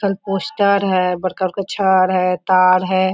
कल पोस्टर है बड़का-बड़का छर है तार है।